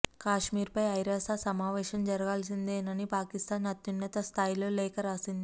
కశ్మీర్పై ఐరాస సమావేశం జరగాల్సిందేనని పాకిస్థాన్ అత్యున్నత స్థాయిలో లేఖ రాసింది